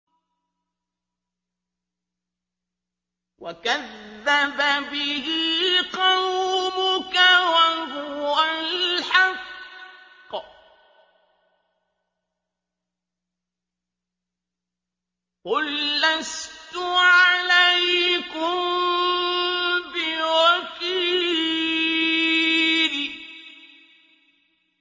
وَكَذَّبَ بِهِ قَوْمُكَ وَهُوَ الْحَقُّ ۚ قُل لَّسْتُ عَلَيْكُم بِوَكِيلٍ